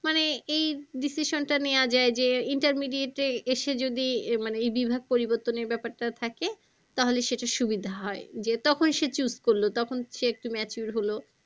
মানে এই decision টা নেওয়া যায় যে intermediate এ এসে যদি মানে এই বিভাগ পরিবর্তনের ব্যাপারটা থাকে তাহলে সেটা সুবিধা হয় যে তখন সে choose করলো তখন সে একটু mature হলো